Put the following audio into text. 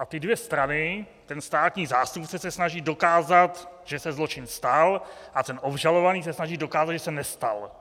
A ty dvě strany, ten státní zástupce se snaží dokázat, že se zločin stal, a ten obžalovaný se snaží dokázat, že se nestal.